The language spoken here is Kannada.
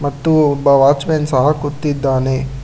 ಮತ್ತು ಒಬ್ಬ ವಾಚ್ ಮೆನ್ ಸಹ ಕುಂತಿದ್ದಾನೆ.